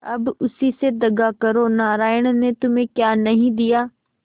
अब उसी से दगा करो नारायण ने तुम्हें क्या नहीं दिया